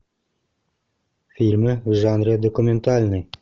фильмы в жанре документальный